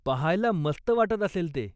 पाहायला मस्त वाटत असेल ते.